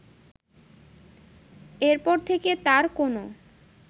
এর পর থেকে তার কোনো